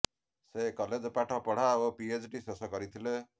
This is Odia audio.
ସେ କଲେଜ ପାଠ ପଢା ଓ ପିଏଚ୍ଡି ଶେଷ କରିଥିଲେ